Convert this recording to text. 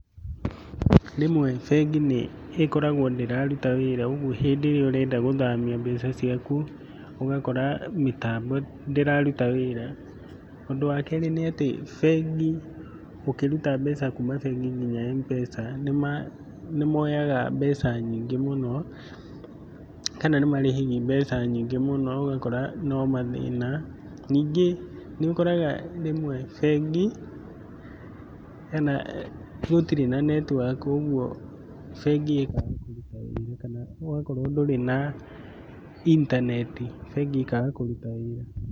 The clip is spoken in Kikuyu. Rĩmwe bengi nĩ ĩkoragwo ndĩraruta wĩra, ũguo hĩndĩ ĩrĩa ũrenda gũthamia mbeca ciaku ũgakora mitambo ndĩraruta wĩra, ũndũ wa kerĩ nĩ atĩ bengi, ũkĩruta mbeca kũma bengi ĩrĩa ya M-pesa nĩmoyaga mbeca nyingĩ mũno, kana nimarĩhagia mbeca nyingĩ mũno, ũgakora no mathĩna, nyingĩ niũkoraga rĩmwe bengi gũtirĩ na netiwaki, ũguo bengi ikaga kũruta wĩra kana ĩgakorwo ndũrĩ na intaneti bengi ĩkaga kũruta wĩra.